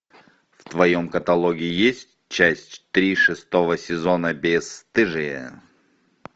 в твоем каталоге есть часть три шестого сезона бесстыжие